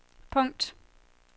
punkt